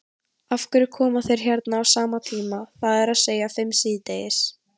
Af hverju koma þeir hérna á sama tíma, það er að segja fimm síðdegis?